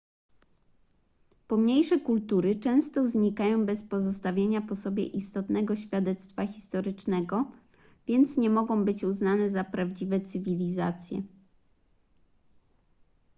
pomniejsze kultury często znikają bez pozostawienia po sobie istotnego świadectwa historycznego więc nie mogą być uznane za prawdziwe cywilizacje